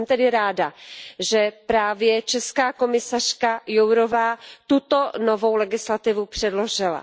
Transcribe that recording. A jsem tedy ráda, že právě česká komisařka Jourová tuto novou legislativu předložila.